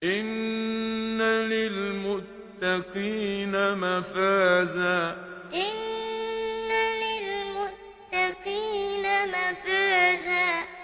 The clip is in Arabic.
إِنَّ لِلْمُتَّقِينَ مَفَازًا إِنَّ لِلْمُتَّقِينَ مَفَازًا